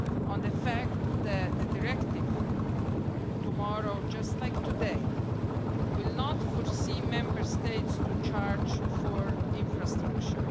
on the fact that the directive, tomorrow, just like today, will not force Member States to charge for infrastructure.